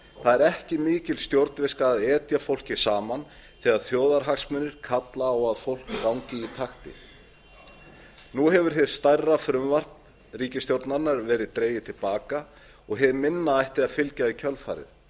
það er ekki mikil stjórnviska að etja fólki saman þegar þjóðarhagsmunir kalla á að fólk gangi í taktinni nú hefur hið stærra frumvarp ríkisstjórnarinnar verið dregið til baka og hið minna ætti að fylgja í kjölfarið